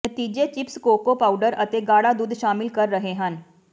ਨਤੀਜੇ chips cocoa powder ਅਤੇ ਗਾੜਾ ਦੁੱਧ ਸ਼ਾਮਿਲ ਕਰ ਰਹੇ ਹਨ